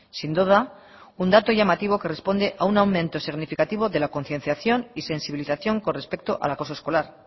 sin duda un dato llamativo que responde a un aumento significativo de la concienciación y sensibilización con respecto al acoso escolar